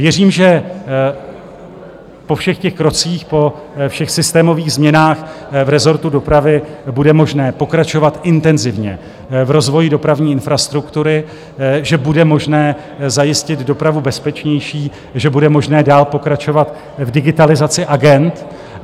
Věřím, že po všech těch krocích, po všech systémových změnách v rezortu dopravy bude možné pokračovat intenzivně v rozvoji dopravní infrastruktury, že bude možné zajistit dopravu bezpečnější, že bude možné dál pokračovat v digitalizaci agend.